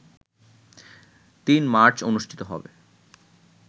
৩ March অনুষ্ঠিত হবে